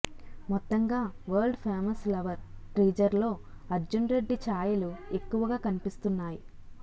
మొత్తంగా world famous lover టీజర్లో అర్జున్ రెడ్డి ఛాయలు ఎక్కువగా కనిపిస్తున్నాయి